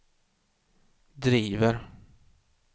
driver